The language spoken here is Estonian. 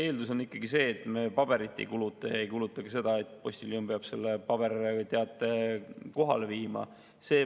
Eeldus on ikkagi see, et me paberit ei kuluta ja ei kuluta ka seda, et postiljon peab paberil teate kohale viima.